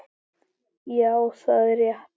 Já það er rétt.